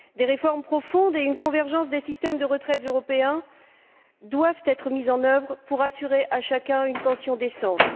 Des réformes profondes et une convergence des systèmes de retraites européens doivent être mises en œuvre pour assurer à chacun une pension décente.